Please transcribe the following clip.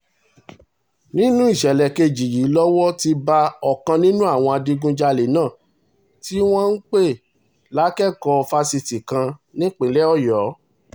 nínú ìṣẹ̀lẹ̀ kejì yìí lowó ti bá ọ̀kan nínú àwọn adigunjalè náà tí wọ́n pè lákẹ́kọ̀ọ́ fásitì kan nípínlẹ̀ ọ̀yọ́